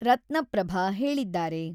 ರತ್ನಪ್ರಭ ಹೇಳಿದ್ದಾರೆ.